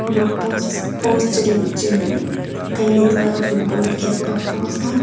ama post post chiding chading taiga footbal khel pa post a.